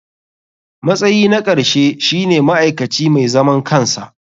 Matsayi na ƙarshe shine ma'aikaci mai zaman kansa.